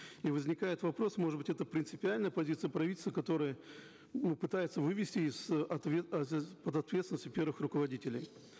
и возникает вопрос может быть это принципиальная позиция правительства которая ну пытается вывести из от ответственности первых руководителей